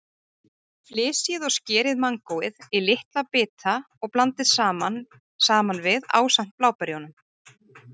Flysjið og skerið mangóið í litla bita og blandið saman við ásamt bláberjunum.